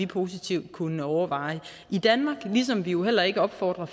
positivt kunne overvejes i danmark ligesom vi jo heller ikke opfordrer